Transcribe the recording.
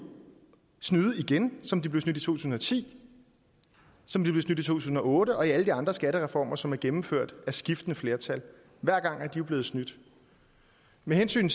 snyde igen som de blev snydt i to tusind og ti som de blev snydt i to tusind og otte og i alle de andre skattereformer som er blevet gennemført af skiftende flertal hver gang er de jo blevet snydt med hensyn